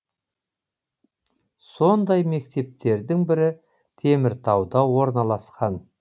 сондай мектептердің бірі теміртауда орналасқан